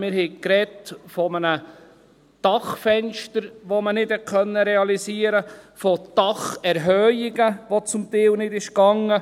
Wir haben von einem Dachfenster gesprochen, das man nicht realisieren konnte, von Dacherhöhungen, die zum Teil nicht gingen.